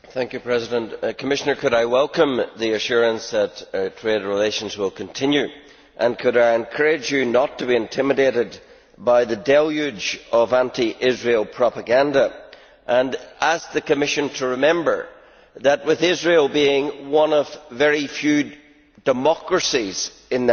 Commissioner, could I welcome the assurance that trade relations will continue, and could I encourage you not to be intimidated by the deluge of anti Israel propaganda and ask the Commission to remember that, with Israel being one of very few democracies in that region,